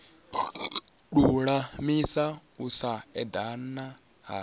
lulamisa u sa edana ha